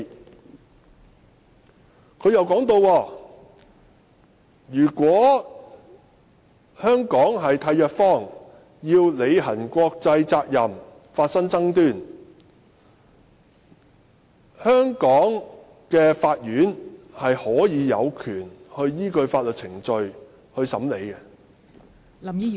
"政府又提到，如果香港特區與締約方就履行國際法的責任發生爭端，香港的法院有權依據法律程序審理......